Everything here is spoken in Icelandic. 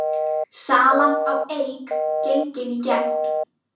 Salan á Eik gengin í gegn